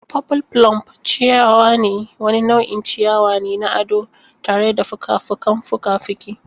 Purple plume ciyawa wani nau'in ciyawa ne na ado tare da fuka-fukan fuka-fuki.